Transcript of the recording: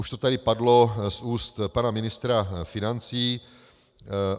Už to tady padlo z úst pana ministra financí.